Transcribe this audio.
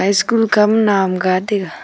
school khama naw am gaa taiga.